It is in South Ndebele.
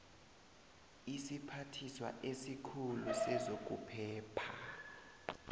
isiphathiswa esikhulu sezokuphepha